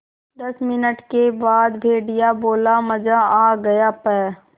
दस मिनट के बाद भेड़िया बोला मज़ा आ गया प्